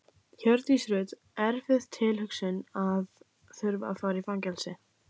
Hjördís Rut: Erfið tilhugsun að þurfa að fara í fangelsi?